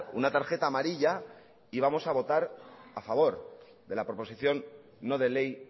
una tarjeta amarilla y vamos a votar a favor de la proposición no de ley